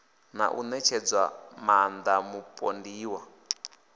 na u ṋetshedza maaṋda mupondiwa